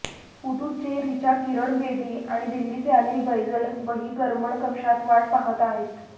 पुदुच्चेरीच्या किरण बेदी आणि दिल्लीचे अनिल बैजल बहिर्गमन कक्षात वाट पाहत आहेत